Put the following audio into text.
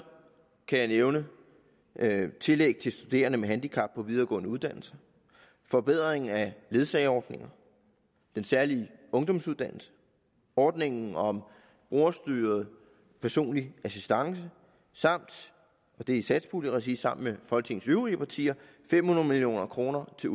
kan eksempelvis nævne tillæg til studerende med handicap på videregående uddannelser en forbedring af ledsageordningen den særlige ungdomsuddannelse ordningen om brugerstyret personlig assistance samt og det er i satspuljeregi sammen med folketingets øvrige partier fem hundrede million kroner til